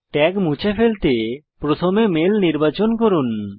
tag মুছে ফেলতে প্রথমে মেল নির্বাচন করুন